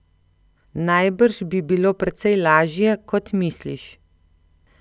Najbrž bi bilo precej lažje, kot misliš.